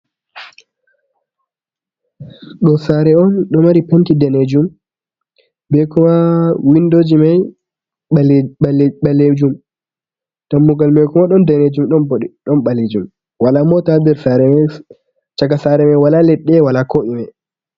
Do sare on ɗo mari penti ɗanejum, ɓe kuma winɗow ji mai ɓalejum ɗammugal mai kuma ɗon ɗanejum ɗon ɓalejum, wala mota ha chaka sare mai wala leɗɗe wala ko ɗume.